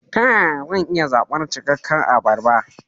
Ta yaya zan iya zaɓar cikakke abarba?